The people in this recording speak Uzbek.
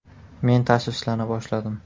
Men tashvishlana boshladim.